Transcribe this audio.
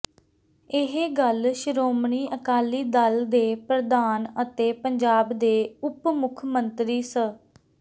ਇਹ ਗੱਲ ਸ਼੍ਰੋਮਣੀ ਅਕਾਲੀ ਦਲ ਦੇ ਪ੍ਰਧਾਨ ਅਤੇ ਪੰਜਾਬ ਦੇ ਉਪ ਮੁੱਖ ਮੰਤਰੀ ਸ